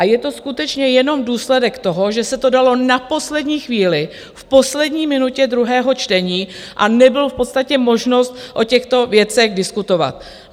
A je to skutečně jenom důsledek toho, že se to dalo na poslední chvíli, v poslední minutě druhého čtení, a nebyla v podstatě možnost o těchto věcech diskutovat.